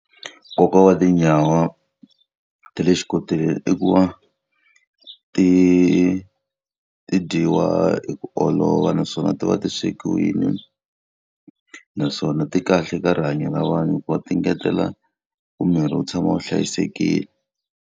Nkoka wa tinyawa ta le xikoteleni i ku va ti ti dyiwa hi ku olova naswona ti va ti swekiwile. Naswona ti kahle ka rihanyo ra vanhu hikuva ti ngetela ku miri wu tshama wu hlayisekile.